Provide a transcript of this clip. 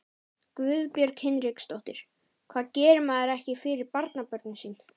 Guðbjörg Hinriksdóttir: Hvað gerir maður ekki fyrir barnabörnin sín?